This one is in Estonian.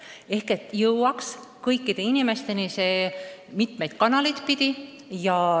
Info peab jõudma kõikide inimesteni mitmeid kanaleid pidi.